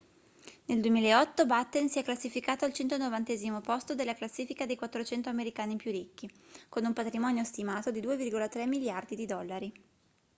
nel 2008 batten si è classificato al 190° posto della classifica dei 400 americani più ricchi con un patrimonio stimato di 2,3 miliardi di dollari